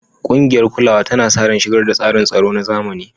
Ƙungiyar kulawa tana sa ran shigar da tsarin tsaro na zamani.